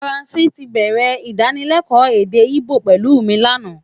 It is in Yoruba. Francis tí bẹ̀rẹ̀ Ìdánilẹ́kọ̀ọ́ èdè Íbò pẹ̀lú mi lánàá